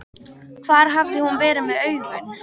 Hvar hafði hún verið með augun?!